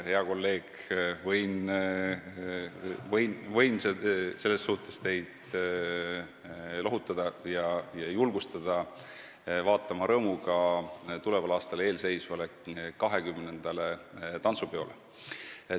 Hea kolleeg, võin teid selles suhtes lohutada ja julgustada vaatama rõõmuga tuleval aastal toimuvale XX tantsupeole.